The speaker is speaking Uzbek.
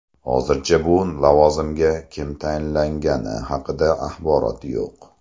Hozircha bu lavozimga kim tayinlangani haqida axborot yo‘q.